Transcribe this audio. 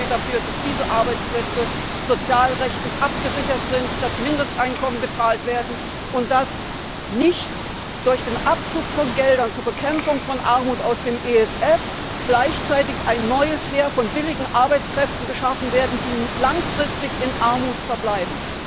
Sorgen Sie dafür, dass diese Arbeitsplätze sozialrechtlich abgesichert sind, dass Mindesteinkommen gezahlt werden und dass nicht durch den Abzug von Geldern zur Bekämpfung von Armut aus dem ESF gleichzeitig ein neues Heer von billigen Arbeitskräften geschaffen wird, die langfristig in Armut verbleiben.